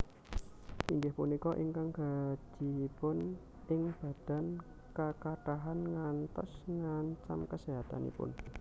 Inggih punika ingkang gajihipun ing badan kakathahan ngantos ngancam kaséhatanipun